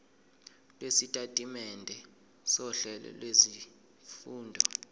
lwesitatimende sohlelo lwezifundo